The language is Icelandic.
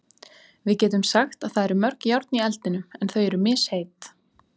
Við getum sagt að það eru mörg járn í eldinum en þau eru misheit.